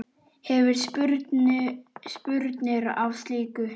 Hefurðu spurnir af slíku?